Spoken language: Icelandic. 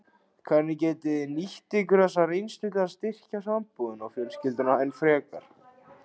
Hvernig getið þið nýtt ykkur þessa reynslu til að styrkja sambúðina og fjölskylduna enn frekar?